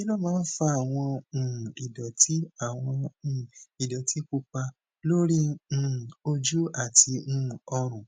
kí ló máa ń fa àwọn um ìdòtí àwọn um ìdòtí pupa lórí um ojú àti um ọrùn